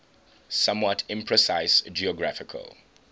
somewhat imprecise geographical